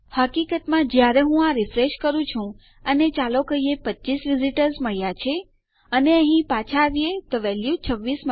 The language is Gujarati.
હકીકતમાં જ્યારે હું આ રીફ્રેશ કરું છું અને ચાલો કહીએ આપણને 25 વિઝીટર્સ મળ્યા છે અને અહી પાછા આવીએ તો આપણને વેલ્યુ 26 મળશે